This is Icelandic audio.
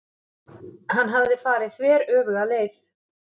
Hann hafði farið þveröfuga leið.